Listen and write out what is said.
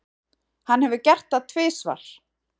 Hann hefur gert það tvisvar.